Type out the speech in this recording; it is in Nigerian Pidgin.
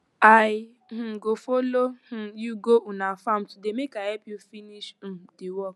i um go folo um you go una farm today make i help you finish um di work